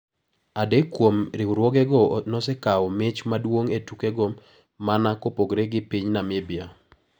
Adek kuom riwruogego nosekawo mich maduong` e tukogo mana kopogore gi piny Namibia.